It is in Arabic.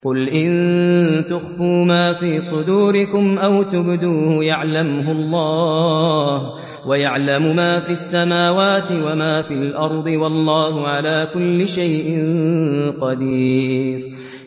قُلْ إِن تُخْفُوا مَا فِي صُدُورِكُمْ أَوْ تُبْدُوهُ يَعْلَمْهُ اللَّهُ ۗ وَيَعْلَمُ مَا فِي السَّمَاوَاتِ وَمَا فِي الْأَرْضِ ۗ وَاللَّهُ عَلَىٰ كُلِّ شَيْءٍ قَدِيرٌ